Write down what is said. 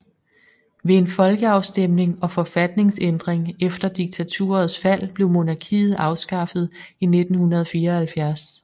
Ved en folkeafstemning og forfatningsændring efter diktaturets fald blev monarkiet afskaffet i 1974